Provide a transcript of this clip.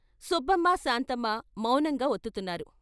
సుబ్బమ్మ, శాంతమ్మ మౌనంగా వత్తుతున్నారు.